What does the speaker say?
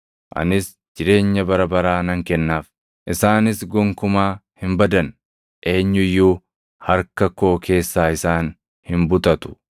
Anis jireenya bara baraa nan kennaaf; isaanis gonkumaa hin badan. Eenyu iyyuu harka koo keessaa isaan hin butatu.